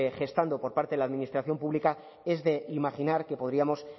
gestando por parte de la administración pública es de imaginar que podríamos